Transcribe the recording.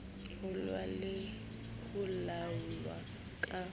ruuwa le ho laolwa ka